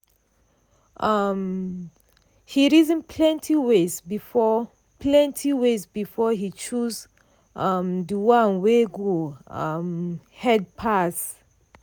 um he reason plenty ways before plenty ways before he choose um the one wey go um head pass.